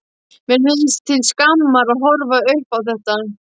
Mér finnst til skammar að horfa upp á þetta.